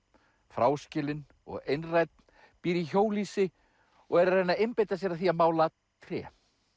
fráskilinn og einrænn býr í hjólhýsi og er að reyna að einbeita sér að því að mála tré